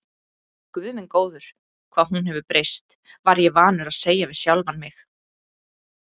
Guð minn góður, hvað hún hefur breyst, var ég vanur að segja við sjálfan mig.